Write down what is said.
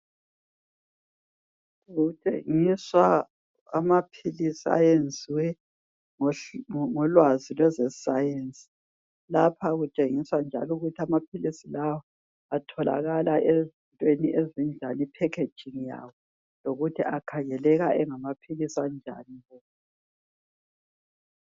Kutshengiswa amaphilisi ayenziwe ngolwazi lwezeScience, Lapha kutshengiswa njalo ukuthi amaphilisi lawa atholakala ezintweni ezinjani. Ipackaging yawo. Lokuthi akhangeleka engamaphilisi anjani.